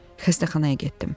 Xəstəxanaya getdim.